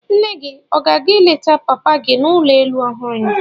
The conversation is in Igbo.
Nne gị ọ ga-aga ịleta papa gị n'ụlọ elu ọhụrụ ya?